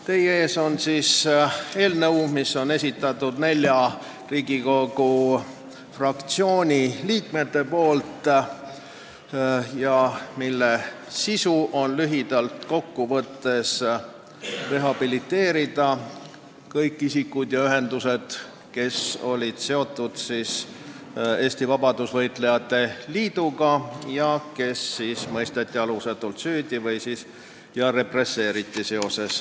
Teie ees on eelnõu, mille on esitanud Riigikogu nelja fraktsiooni liikmed ning mille eesmärk on lühidalt kokku võttes rehabiliteerida kõik isikud ja ühendused, kes olid seotud Eesti Vabadusvõitlejate Liiduga ja kes mõisteti alusetult süüdi, keda seega represseeriti.